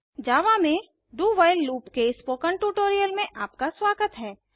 जावा में do while loop के spoken tutorial में आपका स्वागत है